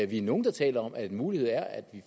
vi er nogle der taler om at en mulighed er at vi